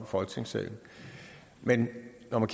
folketingssalen men når man